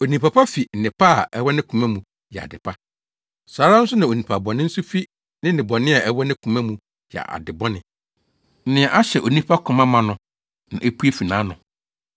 Onipa pa fi nnepa a ɛwɔ ne koma mu yɛ ade pa. Saa ara nso na onipa bɔne nso fi ne nnebɔne a ɛwɔ ne koma mu yɛ ade bɔne. Nea ahyɛ onipa koma ma no, na epue fi nʼano.